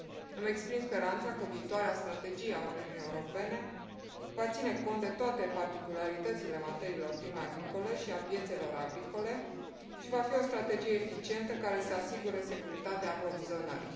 Îmi exprim speranța că viitoarea strategie a Uniunii Europene va ține cont de toate particularitățile materiilor prime agricole și ale piețelor agricole și va fi o strategie eficientă, care să asigure securitatea aprovizionării.